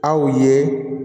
Aw ye